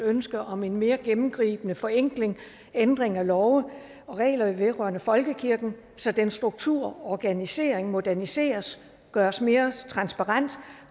ønske om en mere gennemgribende forenkling og ændring af love og regler vedrørende folkekirken så dens struktur og organisering moderniseres og gøres mere transparent